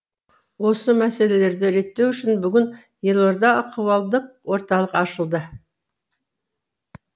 осы мәселелерді реттеу үшін бүгін елордада ахуалдық орталық ашылды